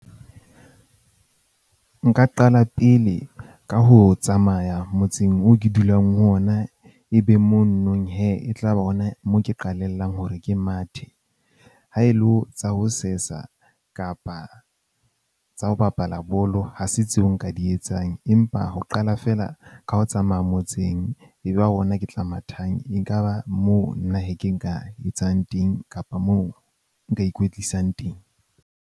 Nka qala pele ka ho tsamaya motseng oo ke dulang ho ona. Ebe mo nonong hee e tla ba ona moo ke qalella hore ke mathe. Ha e le ho tsa ho sesa kapa tsa ho bapala bolo ha se tseo nka di etsang, empa ho qala feela ka ho tsamaya motseng. Eba ona ke tla mathang, ekaba moo nna hee ke nka etsang teng kapa moo nka ikwetlisang teng.